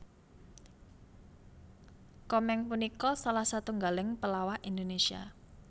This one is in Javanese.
Komeng punika salah setunggaling pelawak Indonesia